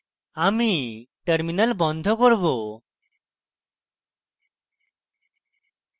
আমি টার্মিনাল বন্ধ করব